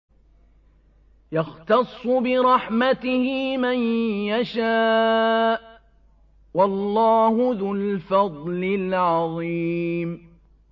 يَخْتَصُّ بِرَحْمَتِهِ مَن يَشَاءُ ۗ وَاللَّهُ ذُو الْفَضْلِ الْعَظِيمِ